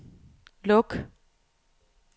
luk